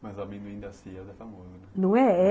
Mas o amendoim da Sears é famoso, não é? É...